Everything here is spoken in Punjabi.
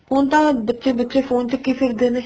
ਹੁਣ ਤਾਂ ਬੱਚੇ ਬੱਚੇ phone ਚੱਕੀ ਫਿਰਦੇ ਨੇ